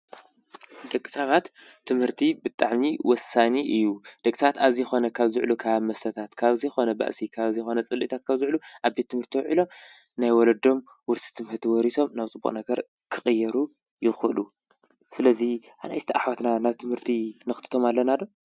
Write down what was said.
ንደቂ ሰባት ትምህርቲ ብጣዕሚ ወሳኒ እዩ። ደቂ ሰባት ኣብ ዘይኮነ ካብ ዝውዕሉ ካብ ኣብ መስተታት፣ ካብ ኣብ ዘይኮነ ባህሲ፣ ካብ ኣብ ዘይኮነ ፅልእታት ካብ ዝውዕሉ ኣብ ቤት ትምህርቲ ውዒሎም ናይ ወለዶም ውርሲ ትምህርቲ ወሪሶም ናብ ፅቡቅ ነገር ክቅየሩ ይክእሉ። ስለዚ ኣናእሽቲ ኣሕዋትና ናብ ትምህርቲ ነክትቶም ኣለና ዶ?